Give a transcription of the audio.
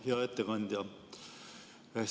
Hea ettekandja!